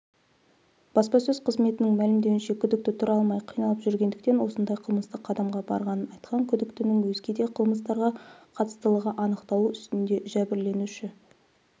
баспасөз қызметінің мәлімдеуінше күдікті тұра алмай қиналып жүргендіктен осындай қылмысты қадамға барғанын айтқан күдіктінің өзге де қылмыстарға қатыстылығы анықталу үстінде жәбірленуші